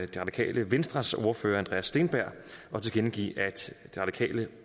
det radikale venstres ordfører herre andreas steenberg og tilkendegive at de radikale